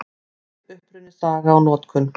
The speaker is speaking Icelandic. Krydd: Uppruni, saga og notkun.